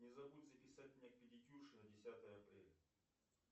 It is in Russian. не забудь записать меня к педикюрше на десятое апреля